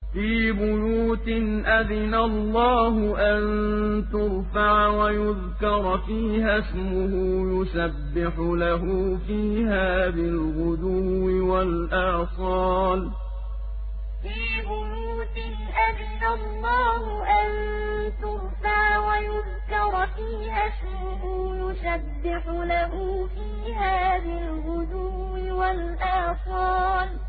فِي بُيُوتٍ أَذِنَ اللَّهُ أَن تُرْفَعَ وَيُذْكَرَ فِيهَا اسْمُهُ يُسَبِّحُ لَهُ فِيهَا بِالْغُدُوِّ وَالْآصَالِ فِي بُيُوتٍ أَذِنَ اللَّهُ أَن تُرْفَعَ وَيُذْكَرَ فِيهَا اسْمُهُ يُسَبِّحُ لَهُ فِيهَا بِالْغُدُوِّ وَالْآصَالِ